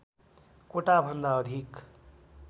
कोटा भन्दा अधिक